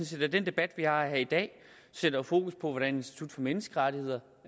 set at den debat vi har her i dag sætter fokus på hvordan institut for menneskerettigheder